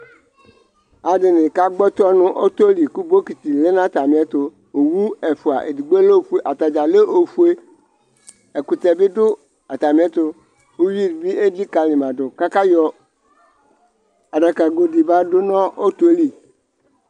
Alʋ ɛdɩnɩ kagbɔ tɔ nʋ ɔtɔ li kʋ bokiti lɛ n' atamɩ ɛtʋOwu ɛfʋa edigbo lɛ ofue ,atadza lɛ ofueƐkʋtɛ bɩ dʋ atamɩ ɛtʋ, uyui bɩ elikǝlimadʋ k' akayɔ adakago dɩ ba dʋ nʋ ɔtɔɛ li